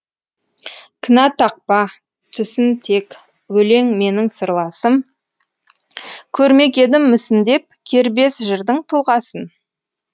кінә тақпа түсін тек өлең менің сырласым көрмек едім мүсіндеп кербез жырдың тұлғасын